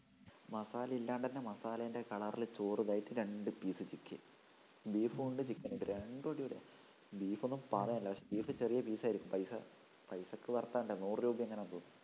മസാല ഇല്ലാണ്ട് തന്നെ മസാലേൻ്റെ color ല് ചോറിതായിട്ട് രണ്ട് piece chicken beef മുണ്ട് chicken മുണ്ട് രണ്ടും അടിപൊളിയാ beef ഒന്നും പറയാനില്ല പക്ഷെ beef ചെറിയ piece ആയിരിക്കും പൈസ പൈസക്ക് worth ആവണ്ടേ നൂറു രൂപ എങ്ങാനുമുള്ളൂ